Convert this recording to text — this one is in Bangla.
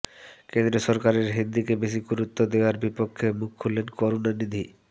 কেন্দ্রীয় সরকারের হিন্দিকে বেশি গুরুত্ব দেওয়ার বিপক্ষে মুখ খুললেন করুণানিধি